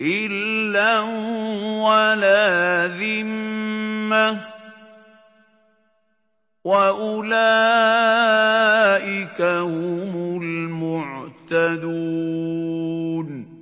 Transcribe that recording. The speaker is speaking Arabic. إِلًّا وَلَا ذِمَّةً ۚ وَأُولَٰئِكَ هُمُ الْمُعْتَدُونَ